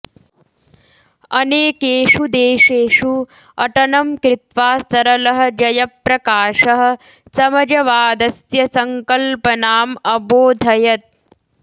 अनेकेषु देशेषु अटनं कृत्वा सरलः जयप्रकाशः समजवादस्य सङ्कल्पनाम् अबोधयत्